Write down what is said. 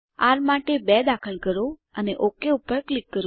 R માટે 2 દાખલ કરો અને ઓક પર ક્લિક કરો